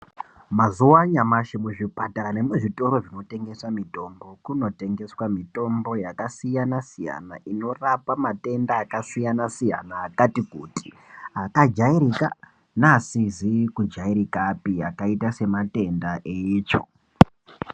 Mazuwa anyamashi muzvipatara nemuzvitoro zvinotengesa mitombo kunotengeswa mitombo yakasiyana-siyana inorapa matenda akasiyana-siyana akati kuti akajairika neasizikujairikapi akaita sematenda eitsvo.